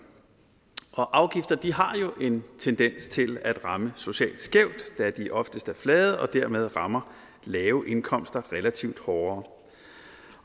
afgifter har jo en tendens til at ramme socialt skævt da de oftest er flade og dermed rammer lave indkomster relativt hårdere